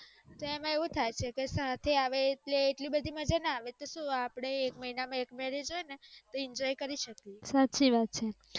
એમાં એવું થાય કે સાથે આવે ઍટલે આટલી બધી મજા ના આવે તો શું આપણે એક મહિના માં એક marriage હોય નેતોઆનંદ કરી શકીએ